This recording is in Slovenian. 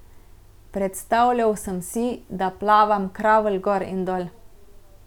Predstavljal sem si, da plavam kravl gor in dol.